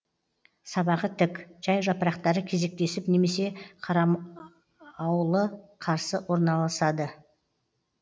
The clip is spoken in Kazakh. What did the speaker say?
сабағы тік жай жапырақтары кезектесіп немесе қарам ауылы қарсы орналасады